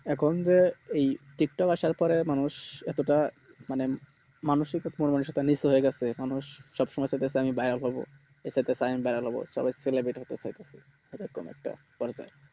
এখন যেএই টিকটক আসারপরে মানুষ এতোটা মানে মানুষ মানুষ সবসুময় চাচ্ছে আমি গাইয়ক হবো এরকম একটা দরকার